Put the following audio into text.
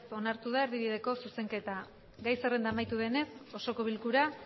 onartu da erdibideko zuzenketa gai zerrenda amaitu denez osoko bilkura